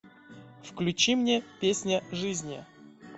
включи мне песня жизни